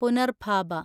പുനർഭാബ